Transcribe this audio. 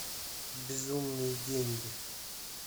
безумные деньги